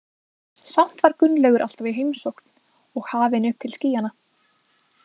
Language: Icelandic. Samt var Gunnlaugur alltaf í heimsókn og hafinn upp til skýjanna.